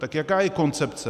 Tak jaká je koncepce?